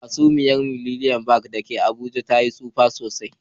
Hasumiyar Millennium da ke Abuja ta Yi tsufa sosai.